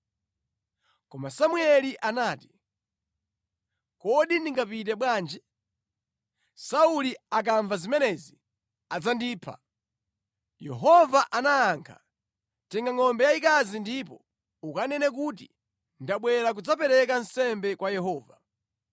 Koma Samueli anati, “Kodi ndingapite bwanji? Sauli akamva zimenezi adzandipha.” Yehova anayankha, “Tenga ngʼombe yayikazi ndipo ukanene kuti, ‘Ndabwera kudzapereka nsembe kwa Yehova.